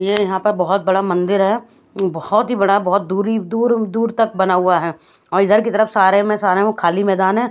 ये यहाँ पर बहत बड़ा मंदिर है बहत ही बड़ा बहत दुरी दूर दूर तक बना हुआ है और इधर की तरफ सारे में सारे हु खली मैदान है।